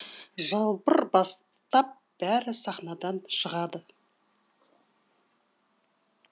жалбыр бастап бәрі сахнадан шығады